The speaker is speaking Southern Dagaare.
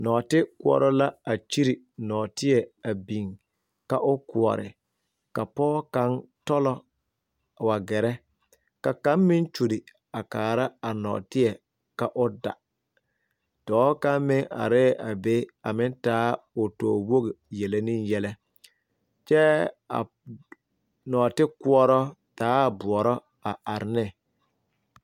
Nɔɔte koɔrɔ la a kyire nɔɔteɛ a biŋ, ka o kɔɔre, ka pɔge kaŋa tolɔ a wa gerɛ ka kaŋa meŋ kyoli a kaara a nɔɔteɛ ka o da, dɔɔ kaŋ. meŋ are la a be a meŋ taa o towogi a meŋ yeli ne yɛlɛ , kyɛ a nɔɔte koɔrɔ taaɛ boɔrɔ a are ne.